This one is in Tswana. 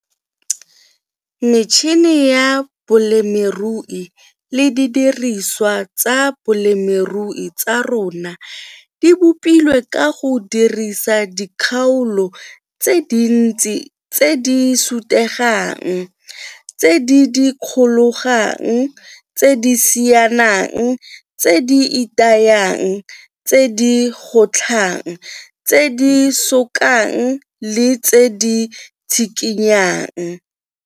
Metšhene ya bolemirui le didiriswa tsa bolemirui tsa rona di bopilwe ka go dirisa dikgaolo tse dintsi tse di sutegang, tse di dikologang, tse di sianang, tse di itayang, tse di gotlhang, tse di sokang le tse di tshikinyang.